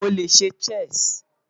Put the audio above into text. Mo le ṣe Chess